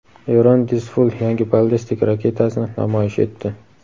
Eron "Dizful" yangi ballistik raketasini namoyish etdi.